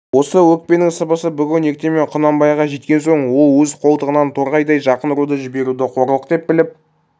осы өкпенің сыбысы бүгін ертемен құнанбайға жеткен соң ол өз қолтығынан торғайдай жақын руды жіберуді қорлық деп біліп